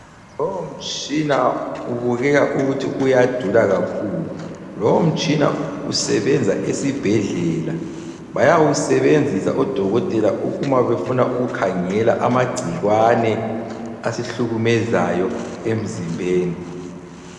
Lowomtshina ubukeka ukuthi uyadula kakhulu. Lowomtshina usebenza esibhedlela. Bayawusebenzisa odokotela uma befuna ukukhangela amagciwane asihlukumezayo emzimbeni.